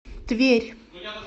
тверь